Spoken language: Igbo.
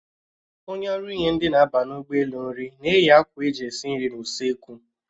Onye ọrụ inye ndị na-aba ụgbọelu nri na-eyi akwa eji esi nri n'usoekwu